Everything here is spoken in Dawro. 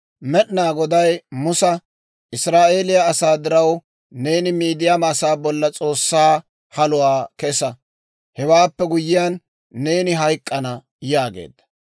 «Israa'eeliyaa asaa diraw, neeni Midiyaama asaa bolla S'oossaa haluwaa kesa; hewaappe guyyiyaan, neeni hayk'k'ana» yaageedda.